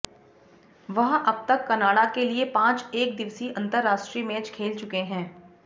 वह अब तक कनाडा के लिए पांच एक दिवसीय अंतरराष्ट्रीय मैच खेल चुके हैं